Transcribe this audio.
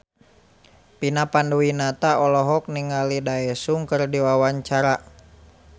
Vina Panduwinata olohok ningali Daesung keur diwawancara